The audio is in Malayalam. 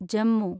ജമ്മു